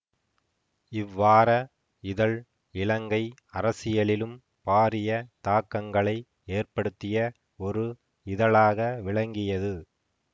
இவ்வார இதழ் இலங்கை அரசியலிலும் பாரிய தாக்கங்களை ஏற்படுத்திய ஒரு இதழாக விளங்கியது